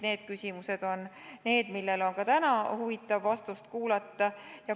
Need küsimused on need, millele on ka täna huvitav vastust kuulda.